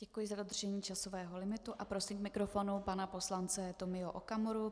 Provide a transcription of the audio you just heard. Děkuji za dodržení časového limitu a prosím k mikrofonu pana poslance Tomio Okamuru.